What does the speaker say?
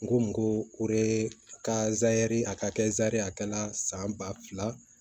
N ko ko o de ka ziri a ka kɛ zɛri a kɛra san ba fila